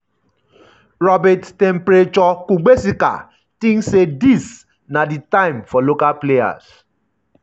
robert um temperature kuegbesika tink say dis na um di time for um local players.